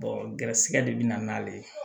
gɛrɛsɛgɛ de bina n'ale ye